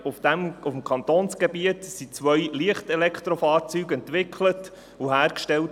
Auf dem Kantonsgebiet wurden zwei Leicht-Elektrofahrzeuge entwickelt und hergestellt.